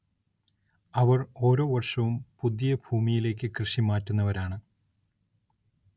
അവർ ഓരോ വർഷവും പുതിയ പുതിയ ഭൂമിയിലേക്ക് കൃഷി മാറ്റുന്നവരാണ്‌.